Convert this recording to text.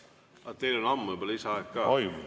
Aga teil on ammu juba lisaaeg ka.